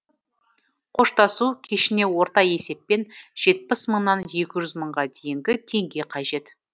қоштасу кешіне орта есеппен жетпіс мыңнан екі жүз мыңға дейінгі теңге қажет